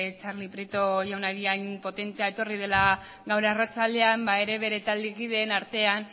txarli prieto jaunari hain potentea etorri dela gaur arratsaldean ba ere bere taldekidearen artean